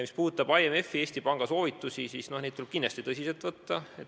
Mis puudutab IMF-i ja Eesti Panga soovitusi, siis neid tuleb kindlasti tõsiselt võtta.